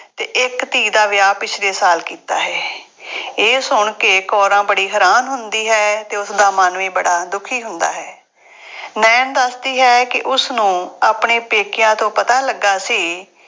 ਅਤੇ ਇੱਕ ਧੀ ਦਾ ਵਿਆਹ ਪਿਛਲੇ ਸਾਲ ਕੀਤਾ ਹੈ। ਇਹ ਸੁਣ ਕੇ ਕੌਰਾਂ ਬੜੀ ਹੈਰਾਨ ਹੁੰਦੀ ਹੈ ਅਤੇ ਉਸਦਾ ਮਨ ਵੀ ਬੜਾ ਦੁਖੀ ਹੁੰਦਾ ਹੈ। ਨਾਇਣ ਦੱਸਦੀ ਹੈ ਕਿ ਉਸਨੂੰ ਆਪਣੇ ਪੇਕਿਆਂ ਤੋਂ ਪਤਾ ਲੱਗਾ ਸੀ